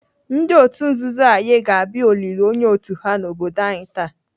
Ndị otu nzuzu Aye ga-abịa olili onye otu ha n'obodo anyi taa.